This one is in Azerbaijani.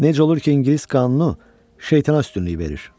Necə olur ki, ingilis qanunu şeytana üstünlük verir?